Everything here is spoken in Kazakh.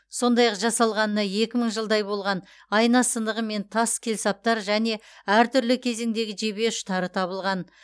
сондай ақ жасалғанына екі мың жылдай болған айна сынығы мен тас келсаптар және әртүрлі кезеңдегі жебе ұштары табылған